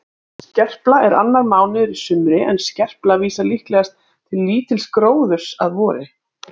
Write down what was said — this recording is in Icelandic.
Skerpla er annar mánuður í sumri en skerpla vísar líklegast til lítils gróðurs að vori.